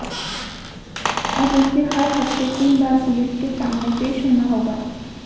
अब उसे हर हफ्ते तीन बार पुलिस के सामने पेश होना होगा